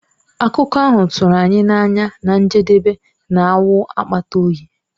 Akụkọ ahụ tụrụ anyị n'anya na njedebe na-awụ akpata oyi.